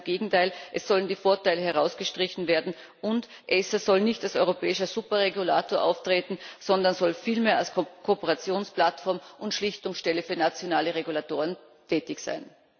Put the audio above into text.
Ganz im Gegenteil Es sollen die Vorteile herausgestrichen werden, und ACER soll nicht als europäischer Superregulator auftreten, sondern soll vielmehr als Kooperationsplattform und Schlichtungsstelle für nationale Regulatoren tätig sein.